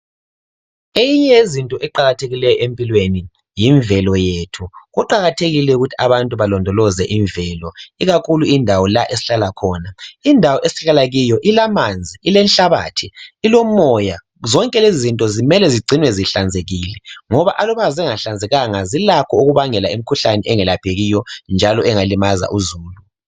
Eyinye yezinto eqakathekileyo empilweni yimvelo yethu. Kuqakathekile ukuthi abantu balondoloze imvelo, ikakhulu indawo la esihlala khona. Indawo esihlala kiyo ilamanzi, ilenhlabathi, ilomoya zonke lezizinto kumele zigcinwe zihlanzekile ngoba aluba zingahlanzekanga zilakho ukubangela imikhuhlane engelaphekiyo njalo engalimaza uzulu.